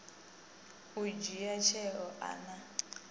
u dzhia tsheo a na